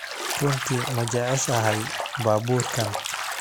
Runtii ma jeceshahay baabuurkan?